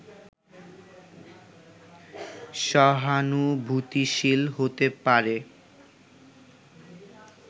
সহানুভূতিশীল হতে পারে